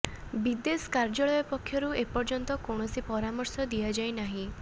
ବିଦେଶ କାର୍ୟ୍ୟାଳୟ ପକ୍ଷରୁ ଏପର୍ୟ୍ୟନ୍ତ କୌଣସି ପରାମର୍ଶ ଦିଆଯାଇ ନାହିଁ